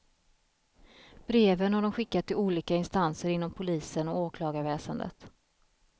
Breven har de skickat till olika instanser inom polisen och åklagarväsendet.